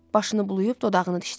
Başını bulayıb dodağını dişlədi.